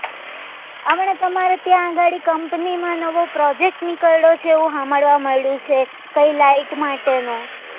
હમણાં તમારે ત્યાં ગાડી company માં નવો project નીકળ્યો છે એવું હમાંભ્ળવા મળ્યું છે કઈ light માટે નું